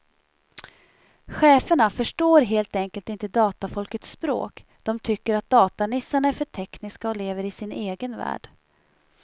Cheferna förstår helt enkelt inte datafolkets språk, de tycker att datanissarna är för tekniska och lever i sin egen värld.